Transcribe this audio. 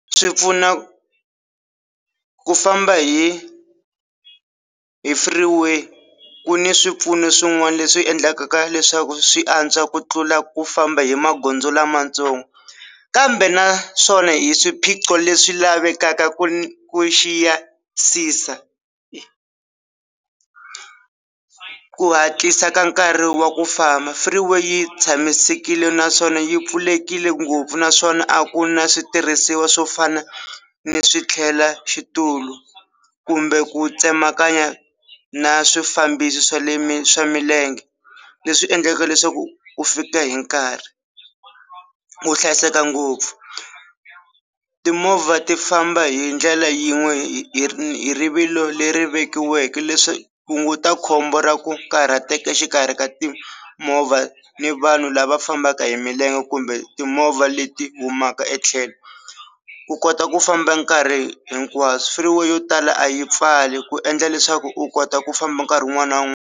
Swi pfuna ku famba hi hi free way ku ni swipfuno swin'wana leswi endlaka leswaku swi antswa ku tlula ku famba hi magondzo lamatsongo kambe naswona hi swiphiqo leswi lavekaka ku ku xiyisisa. Ku hatlisa ka nkarhi wa ku famba free way yi tshamisekile naswona yi pfulekile ngopfu naswona a ku na switirhisiwa swo fana ni swi tlhela xitulu kumbe ku tsemakanya na swifambisi swa le mi swa milenge leswi endlaka leswaku u fika hi nkarhi. Ku hlayiseka ngopfu timovha ti famba hi ndlela yin'we hi hi rivilo leri vekiweke leswi hunguta khombo ra ku karhateka exikarhi ka timovha ni vanhu lava fambaka hi milenge kumbe timovha leti humaka etlhelo ku kota ku famba nkarhi hinkwaswo free way yo tala a yi pfali ku endla leswaku u kota ku famba nkarhi wun'wani na wun'wani.